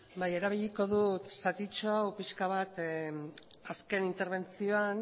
bai erabiliko dut zatitxo hau pixka bat azken interbentzioan